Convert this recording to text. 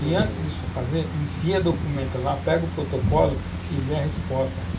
E, antes disso fazer, enfia documento lá, pega o protocolo e vê a resposta.